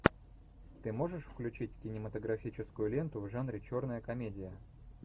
ты можешь включить кинематографическую ленту в жанре черная комедия